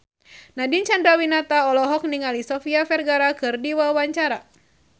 Nadine Chandrawinata olohok ningali Sofia Vergara keur diwawancara